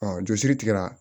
jɔsiri tigɛra